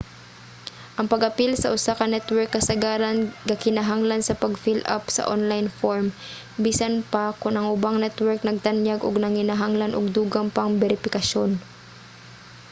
ang pag-apil sa usa ka network kasagaran gakinahanglan sa pag fill-up sa online form; bisan pa kon ang ubang network nagtanyag o nanginahanglan og dugang pang beripikasyon